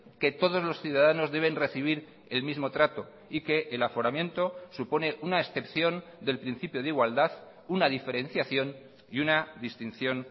que todos los ciudadanos deben recibir el mismo trato y que el aforamiento supone una excepción del principio de igualdad una diferenciación y una distinción